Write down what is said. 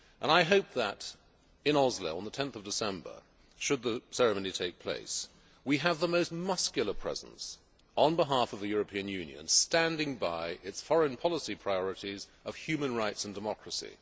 I hope that in Oslo, on 10 December, should the ceremony take place, we have the most muscular presence on behalf of the European Union, standing by its foreign policy priorities of human rights and democracy.